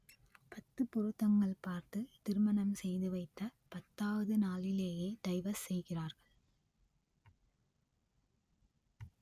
பத்து பொருத்தங்கள் பார்த்து திருமணம் செய்துவைத்த பத்தாவது நாளிலேயே டைவர்ஸ் செய்கிறார்கள்